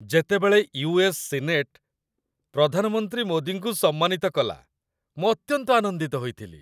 ଯେତେବେଳେ US. Senate ପ୍ରଧାନମନ୍ତ୍ରୀ ମୋଦିଙ୍କୁ ସମ୍ମାନିତ କଲା, ମୁଁ ଅତ୍ୟନ୍ତ ଆନନ୍ଦିତ ହୋଇଥିଲି।